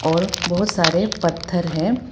और बहोत सारे पत्थर है।